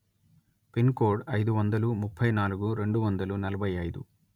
pin code అయిదు వందల ముప్పై నాలుగు రెండు వందల నలభై అయిదు